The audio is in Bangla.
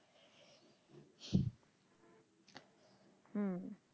হুম